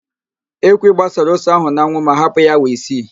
Ekwi gbasara ose ahụ n'anwụ ma hapụ ya awa isii